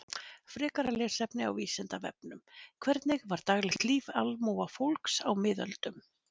Frekara lesefni á Vísindavefnum: Hvernig var daglegt líf almúgafólks á miðöldum?